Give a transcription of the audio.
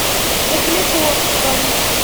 углегорском